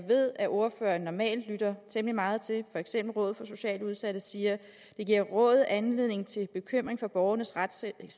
ved at ordføreren normalt lytter temmelig meget til for eksempel rådet for socialt udsatte siger at det giver rådet anledning til bekymring for borgernes retssikkerhed